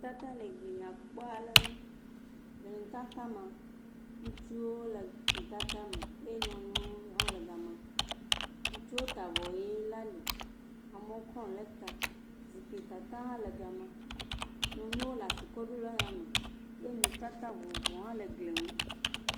Nutata le gli nyakpɔ aɖe ŋu. nutata me, ŋutsuwo le nutata me eye nyɔnuwo hã le gema. Ŋutsuwo ta avɔ ʋi ɖe ali. Amewo kɔ nu ɖe ta. Zikpui tata hã le gema. Nyɔnuwo le asi kɔm ɖo ɖe yame ye nutata vovovowo hã le gli ŋu.